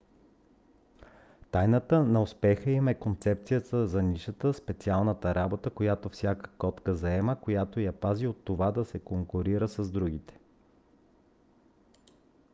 тайната на успеха им е концепцията за нишата специална работа която всяка котка заема която я пази от това да се конкурира с другите